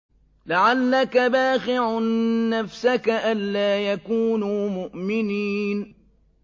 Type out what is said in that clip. لَعَلَّكَ بَاخِعٌ نَّفْسَكَ أَلَّا يَكُونُوا مُؤْمِنِينَ